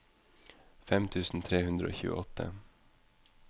fem tusen tre hundre og tjueåtte